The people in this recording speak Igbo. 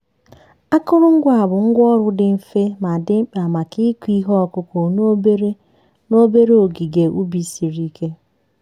akụrụngwa a bụ ngwá ọrụ dị mfe ma dị mkpa maka ịkụ ihe ọkụkụ n'obere n'obere ogige ubi siri ike.